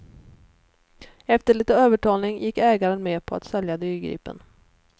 Efter lite övertalning gick ägaren med på att sälja dyrgripen.